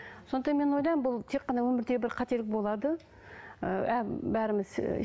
сондықтан мен ойлаймын бұл тек қана өмірдегі бір қателік болады ыыы бәріміз ыыы